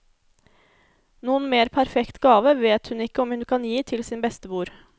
Noen mer perfekt gave vet hun ikke om hun kan gi til sin bestemor.